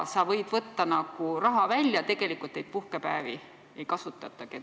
Sa võid võtta raha välja ja tegelikult neid puhkepäevi ei kasutagi.